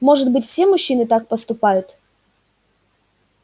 может быть все мужчины так поступают